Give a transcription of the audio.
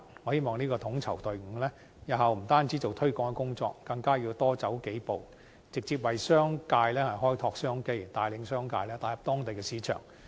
我希望這個統籌隊伍，日後不單做推廣的工作，更加要多走數步，直接為商界開拓商機，帶領商界打入當地市場。